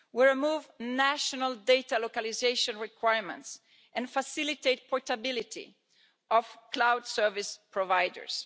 We are removing national data localisation requirements and facilitating portability of cloud service providers.